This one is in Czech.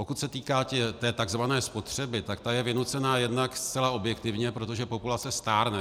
Pokud se týká té tzv. spotřeby, tak ta je vynucená jednak zcela objektivně, protože populace stárne.